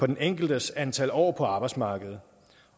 den enkeltes antal år på arbejdsmarkedet